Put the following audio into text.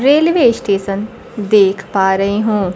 Railway station देख पा रही हूं।